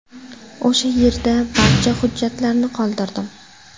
O‘sha yerda barcha hujjatlarni qoldirdim.